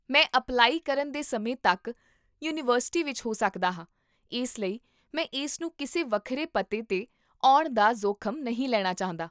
ਮੈਂ ਅਪਲਾਈ ਕਰਨ ਦੇ ਸਮੇਂ ਤੱਕ ਯੂਨੀਵਰਸਿਟੀ ਵਿੱਚ ਹੋ ਸਕਦਾ ਹਾਂ ਇਸ ਲਈ ਮੈਂ ਇਸ ਨੂੰ ਕਿਸੇ ਵੱਖਰੇ ਪਤੇ 'ਤੇ ਆਉਣ ਦਾ ਜੋਖ਼ਮ ਨਹੀਂ ਲੈਣਾ ਚਾਹੁੰਦਾ